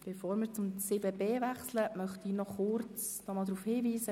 Bevor wir zu 7.b wechseln möchte ich nochmals kurz darauf hinweisen: